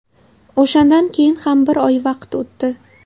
O‘shandan keyin ham bir oy vaqt o‘tdi.